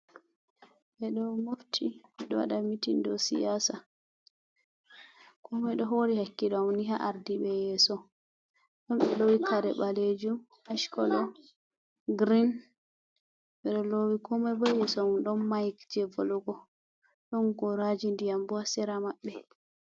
Ɓe ɗo mofti ɗo waɗa mitin do siyasa ko moi ɗo hori hakkilo ni ha ardiɓe yeso ɗon ɓe lowi kare ɓalejum ach kolo girin ɓero lowi ko mai bo yeso mako don mayik je volugo ɗon goraji ndiyam bo ha sera maɓɓe.